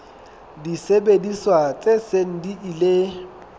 disebediswa tse seng di ile